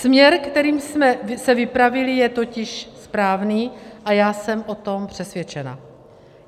Směr, kterým jsme se vypravili, je totiž správný a já jsem o tom přesvědčena.